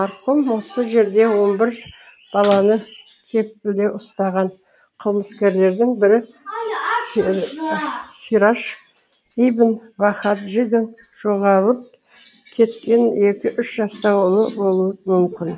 марқұм осы жерде он бір баланы кепілде ұстаған қылмыскерлердің бірі сираж ибн вахаджидың жоғалып кеткен екі үш жастағы ұлы болуы мүмкін